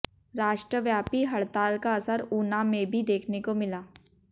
राष्ट्रव्यापी हड़ताल का असर ऊना में भी देखने को मिला